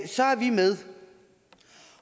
så er vi med